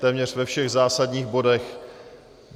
Téměř ve všech zásadních bodech.